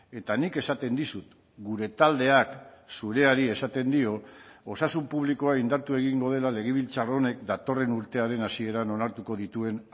eta nik esaten dizut gure taldeak zureari esaten dio osasun publikoa indartu egingo dela legebiltzar honek datorren urtearen hasieran onartuko dituen